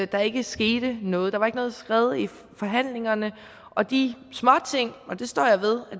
der ikke skete noget der var ikke noget skred i forhandlingerne og de småting og det står jeg ved at